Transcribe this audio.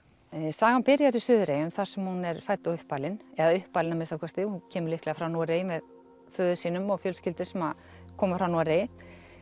sagan byrjar í Suðureyjum þar sem hún er fædd og uppalin eða uppalin að minnsta kosti hún kemur líklega frá Noregi með föður sínum og fjölskyldu sem að koma frá Noregi